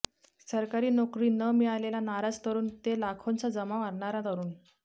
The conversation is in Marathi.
सरकारी नोकरी न मिळालेला नाराज तरुण ते लाखोंचा जमाव आणणारा तरुण